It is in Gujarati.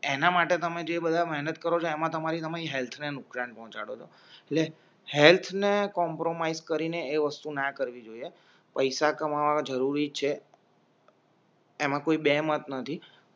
એના માટે તમે જેબધા મહેનત કરો છો એમાં તમારી હેલ્થને નુકસાન પહોંચાડો એટલે હેલ્થને કોમ્પ્રોમાઇજ કરીને એ વસ્તુ ના કરવી જોઈએ પૈસા કમાવવા જરૂરી છે એમાં કોઈ બેમત નથી